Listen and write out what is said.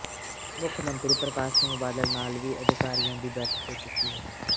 ਮੁੱਖਮੰਤਰੀ ਪ੍ਰਕਾਸ਼ ਸਿੰਘ ਬਾਦਲ ਨਾਲ ਵੀ ਅਧਿਕਾਰੀਆਂ ਦੀ ਬੈਠਕ ਹੋ ਚੁੱਕੀ ਹੈ